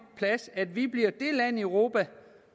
plads at vi bliver det land i europa